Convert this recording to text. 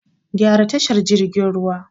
Gyara tashar jirgin ruwan